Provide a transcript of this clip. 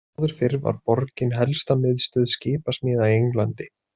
Áður fyrr var borgin helsta miðstöð skipasmíða í Englandi.